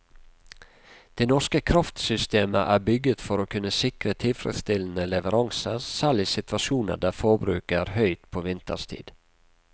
Det norske kraftsystemet er bygget for å kunne sikre tilfredsstillende leveranser selv i situasjoner der forbruket er høyt på vinterstid.